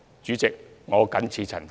主席，我謹此陳辭。